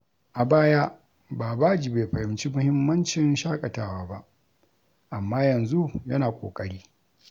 A baya, Babaji bai fahimci muhimmancin shakatawa ba, amma yanzu yana ƙoƙari.